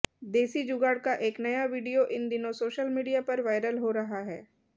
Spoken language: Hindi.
देसी जुगाड़ का एक नया वीडियो इन दिनों सोशल मीडिया पर वायरल हो रहा है